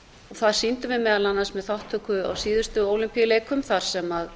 það sýndum við meðal annars með þátttöku á síðustu ólympíuleikum þar sem